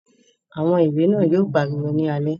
Àwọn ìrẹ̀ náà yóò pariwo ní alẹ́